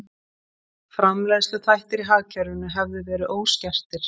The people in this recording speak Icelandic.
Framleiðsluþættir í hagkerfinu hefðu verið óskertir